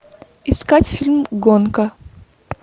искать фильм гонка